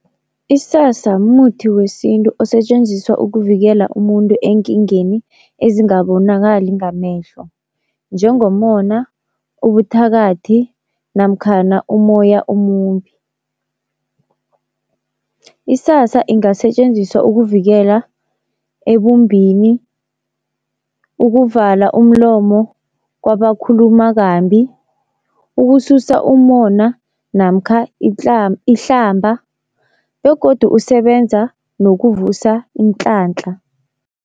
Isasa mumuthi wesintu osetjenziswa ukuvikela umuntu eenkingeni ezingabonakali ngamehlo njengomona, ubuthakathi namkhana umoya omumbi. Isasa ingasetjenziswa ukuvikela ebumbini, ukuvala umlomo kwabakhuluma kambi, ukususa umona namkha ihlamba begodu usebenza nokuvusa inhlanhla.